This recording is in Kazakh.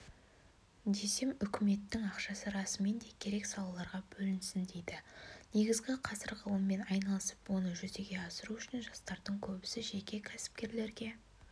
десем үкіметтің ақшасы расымен де керек салаларға бөлінсін дейді негізі қазір ғылыммен айналысып оны жүзеге асыру үшін жастардың көбісі жеке кәсіпкерлерге